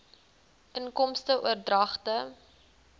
inkomste oordragte